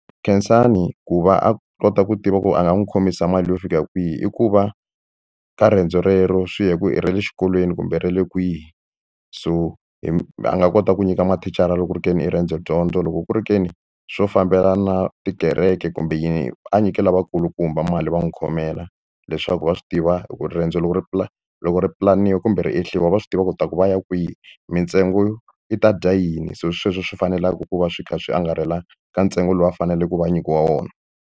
Khensani ku va a kota ku tiva ku a nga n'wi khomisa mali yo fika kwihi i ku va ka riendzo rero swi ya hi ku i ra le xikolweni kumbe ra le kwihi so hi a nga kota ku nyika mathicara loko ku ri ke ni i riendzo dyondzo loko ku ri ke ni swo fambelana tikereke kumbe yini a nyike lavakulukumba mali va n'wi khomela leswaku va swi tiva hi ku riendzo loko ri loko ri pulaniwa kumbe va swi tiva ku ta ku va ya kwihi mintsengo yi ta dya yini se sweswo swi faneleke ku va swi kha swi angarhela ka ntsengo lowu a faneleke ku va a nyikiwa wona.